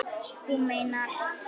Þú meinar.